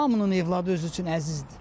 Hamının övladı özü üçün əzizdir.